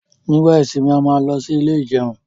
nígbà ìsimi a má ló sì Ilé ìjẹun